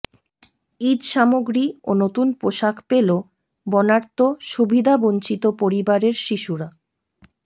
ঈদসামগ্রী ও নতুন পোশাক পেল বন্যার্ত সুবিধাবঞ্চিত পরিবারের শিশুরা